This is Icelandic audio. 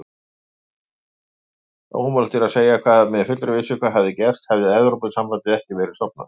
Ómögulegt er að segja með fullri vissu hvað hefði gerst hefði Evrópusambandið ekki verið stofnað.